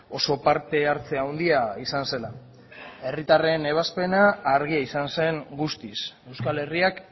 oso parte hartze handia izan zela herritarren ebazpena argia izan zen guztiz euskal herriak